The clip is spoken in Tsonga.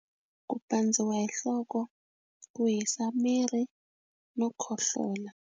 Ku pandziwa hi nhloko ku hisa miri no khohlola.